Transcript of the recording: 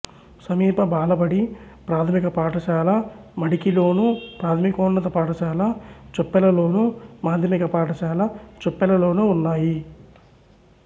సమీప బాలబడి ప్రాథమిక పాఠశాల మడికిలోను ప్రాథమికోన్నత పాఠశాల చొప్పెలలోను మాధ్యమిక పాఠశాల చొప్పెలలోనూ ఉన్నాయి